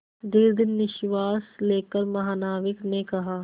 दीर्घ निश्वास लेकर महानाविक ने कहा